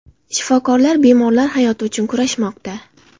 Shifokorlar bemorlar hayoti uchun kurashmoqda.